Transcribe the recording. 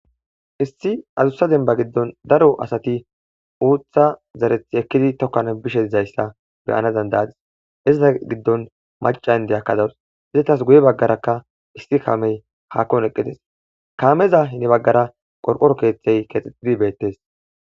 issi azussa demba giddon daro asati uutha zarethi ekkidi tokkan bishe izayssa beyana dandayadis izata giddon maca in deyakkadawus hizetas guye baggarakka issi kaamey haakkon eqqides kaameza hine baggara qorqoro keeththey keexxexidi beettes